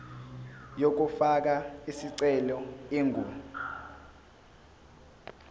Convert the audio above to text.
yokufaka isicelo ingu